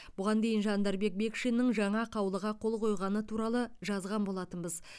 бұған дейін жандарбек бекшиннің жаңа қаулыға қол қойғаны туралы жазған болатынбыз